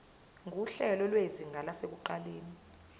nguhlelo lwezinga lasekuqaleni